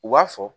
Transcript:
U b'a fɔ